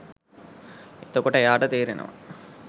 එතකොට එයාට තේරෙනවා